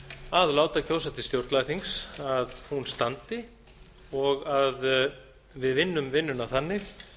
að láta kjósa til stjórnlagaþings standi og að við vinnum vinnuna þannig